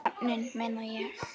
Nöfnin, meina ég.